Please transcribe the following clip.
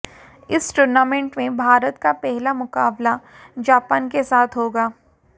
इस टूर्नामेंट में भारत का पहला मुकाबला जापान के साथ होगा